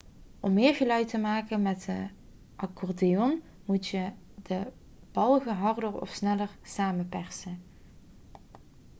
om meer geluid te maken met de accordeon moet je de balgen harder of sneller samenpersen